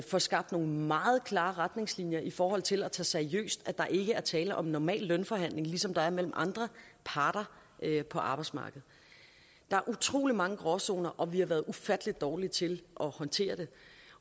får skabt nogle meget klare retningslinjer i forhold til at tage seriøst at der ikke er tale om normal lønforhandling ligesom der er mellem andre parter på arbejdsmarkedet der er utrolig mange gråzoner og vi har været ufatteligt dårlige til at håndtere det